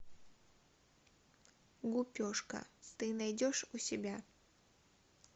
гупешка ты найдешь у себя